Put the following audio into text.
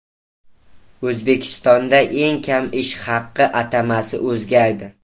O‘zbekistonda eng kam ish haqi atamasi o‘zgardi .